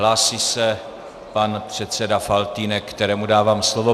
Hlásí se pan předseda Faltýnek, kterému dávám slovo.